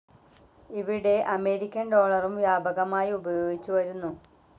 ഇവിടെ അമേരിക്കൻ ഡോളറും വ്യാപകമായി ഉപയോഗിച്ചുവരുന്നു.